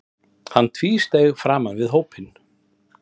Hann tvísteig framan við hópinn.